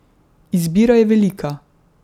Izbira je velika.